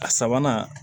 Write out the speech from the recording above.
A sabanan